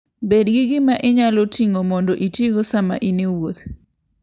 Bed gi gima inyalo ting'o mondo itigo sama in e wuoth.